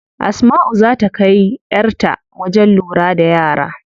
Asmau zaa ta kai yar ta wajen lura da yara.